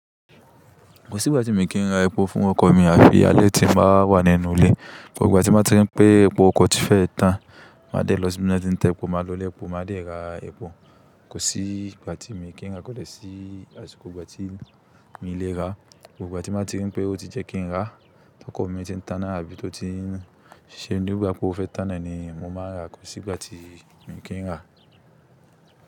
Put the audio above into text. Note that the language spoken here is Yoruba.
Kò sí ìgbà tí mi kì n ra epo fún ọkọ̀ mi àfi alẹ́ tí n bá wà nínú ilé. Gbogbo ìgbà tí mo bá ti ń ri pé epo ọkọ̀ ti fẹ́ẹ̀ ẹ́ tán. Màá dẹ̀ lọ síbi t'ọ́n ti ń ta epo, màá lọ'lé epo, màá dẹ̀ ra epo. Kò sí ìgbà tí miì kí ń ràá, kò dẹ́ sí àsìkò ìgbà tí miì le ràá. Gbogbo ìgbà tí mo ti rí pé ó ti yẹ kí n ràá. T'ọ́kọ̀ mi ti ń tanná àbí tó ti ń ṣe nígbà pé ó fẹ́ tan náà a ni mo máa ń ràá. Kò sí ìgbà tí mo kì ń rà.